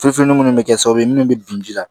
Fufunenni mun bɛ kɛ sababu ye munnu bɛ bin ji la